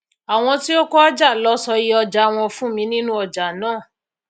áwọn tí ó kojá lọ sọ iye òjà wọn fún mi nínú ọjà náà